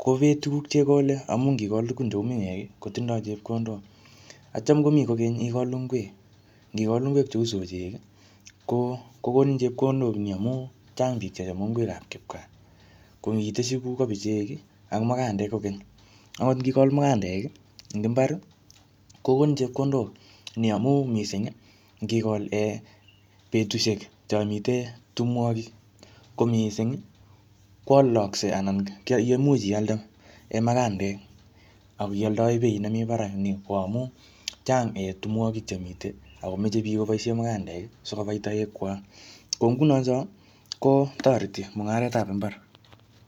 ko bee tukuk che ikole amu ngikol tukun cheu miwek ii kotindoi chepkondok atyam komi kokeny ikol ingwek, ngikol ingwek cheu sochek ii, ko konin chepkondok ni amu chang piik che chome ingwekab kipkaa, ko ngitesyi kou kobichek ii anan ko makandek kokeny, akot ngikol makandek ii eng imbar kokonin chepkondok ni amu mising ngikol um betusiek cho mitei tumwogik ko mising ii kwolokse anan ye imuch ialde um makandek akioldoe beit nemi barak ni ko amu chang um tumwogik che mitei akomoche piik koboisie mukandek ii si kobai toekwak ko nguno cho kotorteti mungaretab imbar.